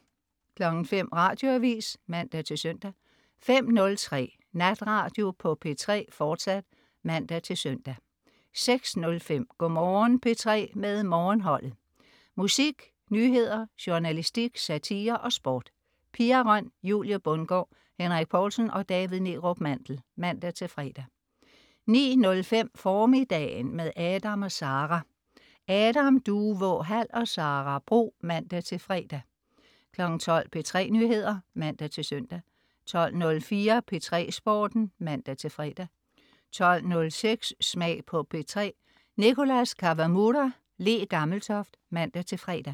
05.00 Radioavis (man-søn) 05.03 Natradio på P3, fortsat (man-søn) 06.05 Go' Morgen P3 med Morgenholdet. Musik, nyheder, journalistik, satire og sport. Pia Røn, Julie Bundgaard, Henrik Povlsen og David Neerup Mandel (man-fre) 09.05 Formiddagen. Med Adam & Sara. Adam Duvå Hall og Sara Bro (man-fre) 12.00 P3 Nyheder (man-søn) 12.04 P3 Sporten (man-fre) 12.06 Smag på P3. Nicholas Kawamura/Le Gammeltoft (man-fre)